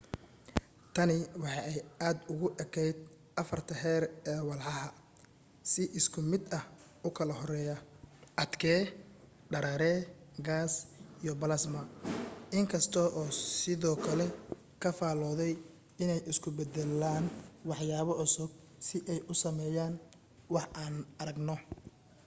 tani waxa ay aad ugu ekayd afarta heer ee walxaha si isku mid ah u kala horeeya: adke dareere gaas iyo balasma in kasta oo uu sidoo kale ka faalooday inay isku beddelaan waxyaabo cusub si ay u sameeyaan waxa aan aragno